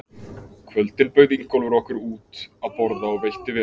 kvöldin bauð Ingólfur okkur út að borða og veitti vel.